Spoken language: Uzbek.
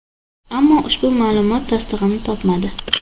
Ammo ushbu ma’lumot tasdig‘ini topmadi.